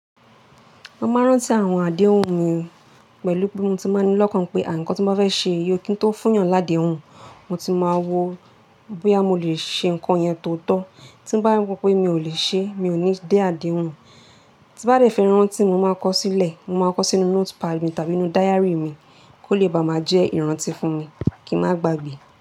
Mo máa ń rántí àwọn àdéhùn mi pẹ̀lú pé mo ti máa ní lọ́kàn pé, à nkán tí mo bá fẹ́ ṣe, iyì ó kí ń tó fún yàn ládèhùn, mo ti máa wo bóyá mo lè ṣe nǹkan yẹn tòótọ́. Tí bá ro pé mi ò lè ṣe é, mi ò ní dé àdéhùn. Tí bá fẹ́ rántí, mo máa kọ ó sílẹ̀. Mo máa kọ ó sínú notepad mi tàbí nínú diary mi kó lè bá máa jẹ́ ìrántí fún mi kí n má gbagbe.